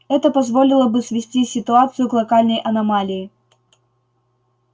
это позволило бы свести ситуацию к локальной аномалии